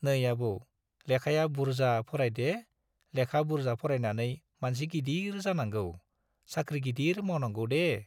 नै आबौ, लेखाया बुर्जा फरायदे-लेखा बुर्जा फरायनानै मानसि गिदिर जानांगौ, साख्रि गिदिर मावनांगौदे।